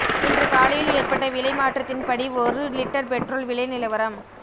இன்று காலையில் ஏற்பட்ட விலை மாற்றத்தின் படி ஒரு லீட்டர் பெட்ரோல் விலை நிலவரம்